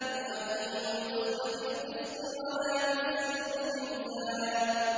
وَأَقِيمُوا الْوَزْنَ بِالْقِسْطِ وَلَا تُخْسِرُوا الْمِيزَانَ